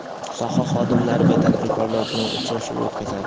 soha xodimlari va tadbirkorlar bilan uchrashuv o‘tkazadi.